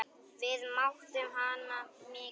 Við mátum hana mikils.